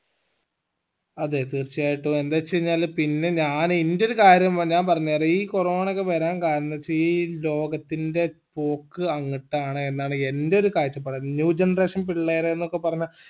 അതെ തീർച്ചയായിട്ടും എന്തെച്ചു കഴിഞ്ഞാല് പിന്നെ ഞാൻ എന്റെ ഒരു കാര്യം ഏർ ഞാൻ പറഞ്ഞേരാ ഈ corona ഒക്കെ വരാൻ കാരണം എന്നെച്ച ഈ ലോകത്തിൻ്റെ പോക്ക് അങ്ങത്താണ് എന്നാണ് എന്റെ ഒരു കാഴ്ചപ്പാട new generation പിള്ളേര്